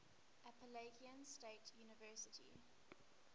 appalachian state university